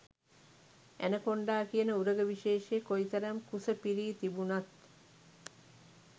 anaconda කියන උරග විශේෂය කොයි තරම් කුස පිරී තිබුණත්